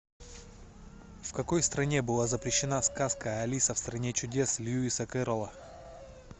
в какой стране была запрещена сказка алиса в стране чудес льюиса кэрролла